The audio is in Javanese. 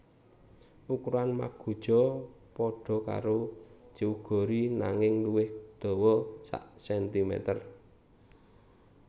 Ukuran magoja pada karo jeogori nanging luwih dawa sakcentimeter